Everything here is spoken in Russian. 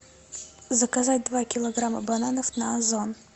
заказать два килограмма бананов на озон